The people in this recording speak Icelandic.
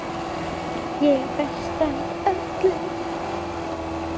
Ég er bestur af öllum!